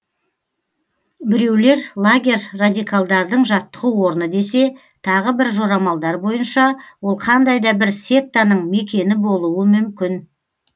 біреулер лагерь радикалдардың жаттығу орны десе тағы бір жорамалдар бойынша ол қандай да бір сектаның мекені болуы мүмкін